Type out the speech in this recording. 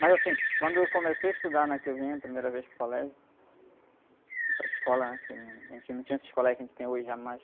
Mas assim, quando eu comecei a estudar, né? Que eu vim a primeira vez para o colégio, para a escola, né? Porque não, a gente não tinha esse colégio que a gente tem hoje, jamais.